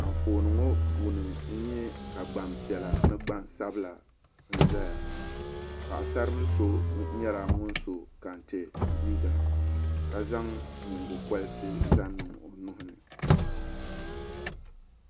Anfooni ŋɔ puuni n nye ka gbanpiɛla ni gbansabila n zaya paɣasari bila so nyela ŋun so kantɛ liiga ka zaŋ nyingokorisi zaŋ niŋ o nuhu ni.